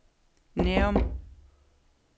Nærum